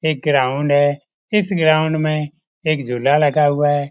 एक ग्राउंड है इस ग्राउंड में एक झूला लगा हुआ है।